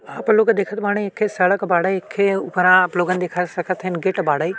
आप लोग देखत बाड़े। एखे सड़क बाड़े। एखे ऊपरा आप लोगन देख सकत हइन गेट बाड़े।